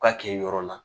U ka kɛ yɔrɔ la